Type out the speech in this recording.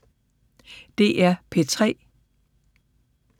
DR P3